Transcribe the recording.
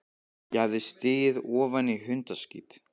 Ég hafði stigið ofan í hundaskít.